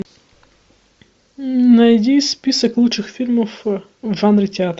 найди список лучших фильмов в жанре театр